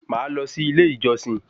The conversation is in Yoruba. Máa lọ sí ilé ìjọsìn